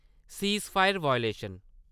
ceasefire violation